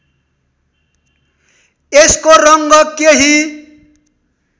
यसको रङ्ग केही